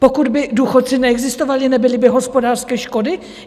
Pokud by důchodci neexistovali, nebyly by hospodářské škody?